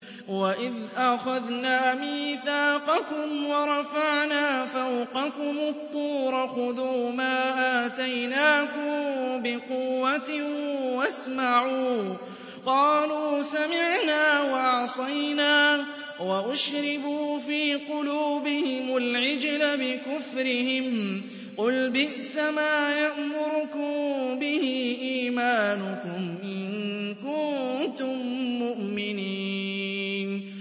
وَإِذْ أَخَذْنَا مِيثَاقَكُمْ وَرَفَعْنَا فَوْقَكُمُ الطُّورَ خُذُوا مَا آتَيْنَاكُم بِقُوَّةٍ وَاسْمَعُوا ۖ قَالُوا سَمِعْنَا وَعَصَيْنَا وَأُشْرِبُوا فِي قُلُوبِهِمُ الْعِجْلَ بِكُفْرِهِمْ ۚ قُلْ بِئْسَمَا يَأْمُرُكُم بِهِ إِيمَانُكُمْ إِن كُنتُم مُّؤْمِنِينَ